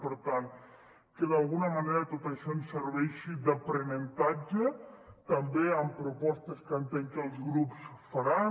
per tant que d’alguna manera tot això ens serveixi d’aprenentatge també amb propostes que entenc que els grups faran